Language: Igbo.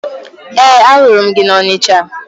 Ee, ahụrụ m gị na Ọnịcha